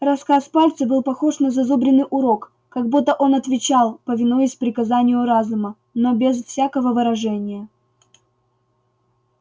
рассказ пальца был похож на зазубренный урок как будто он отвечал повинуясь приказанию разума но без всякого выражения